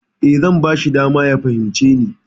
E, zan bashi dama ya fahimce ni.